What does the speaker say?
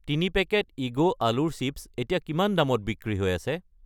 3 packet ইগো আলুৰ chips এতিয়া কিমান দামত বিক্ৰী হৈ আছে?